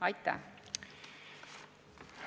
Aitäh!